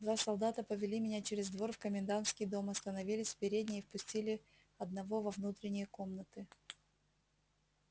два солдата повели меня через двор в комендантский дом остановились в передней и впустили одного во внутренние комнаты